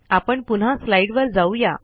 आपण पुन्हा स्लाईडवर जाऊ या